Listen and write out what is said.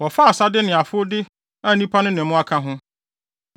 Wɔfaa asade ne afowde a nnipa no ne mmoa ka ho.